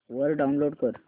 वरून डाऊनलोड कर